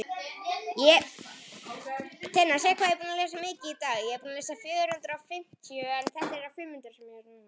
Ert þú smeykur við þokuna?